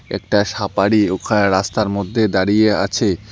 একটা সাপাড়ি ওখায় রাস্তার মদ্যে দাঁড়িয়ে আছে।